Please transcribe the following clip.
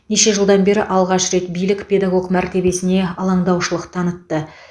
неше жылдан бері алғаш рет билік педагог мәртебесіне алаңдаушылық танытты